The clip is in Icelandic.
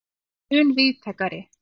er mun víðtækari.